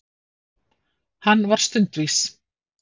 Hann var stundvís.